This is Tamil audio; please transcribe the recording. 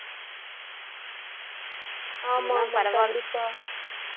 ஆமா ஆமா கண்டிப்பா